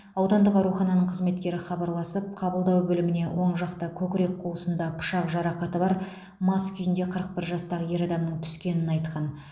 аудандық аурухананың қызметкері хабарласып қабылдау бөліміне оң жақта көкірек қуысында пышақ жарақаты бар мас күйінде қырық бір жастағы ер адамның түскенін айтқан